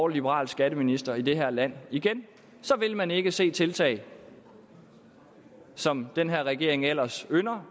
liberal skatteminister i det her land igen så vil man ikke se tiltag som den her regering ellers ynder